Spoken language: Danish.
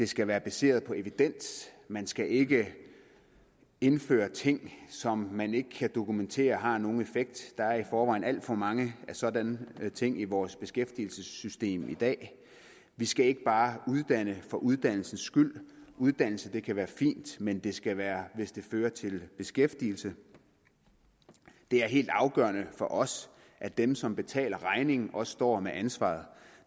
skal være baseret på evidens man skal ikke indføre ting som man ikke kan dokumentere har nogen effekt der er i forvejen alt for mange af sådanne ting i vores beskæftigelsessystem i dag vi skal ikke bare uddanne for uddannelsen skyld uddannelse kan være fint men det skal være hvis det fører til beskæftigelse det er helt afgørende for os at dem som betaler regningen også står med ansvaret